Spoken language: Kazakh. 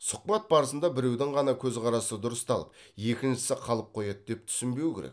сұхбат барысында біреудің ғана қөзқарасы дұрысталып екіншісі қалып қояды деп түсінбеу керек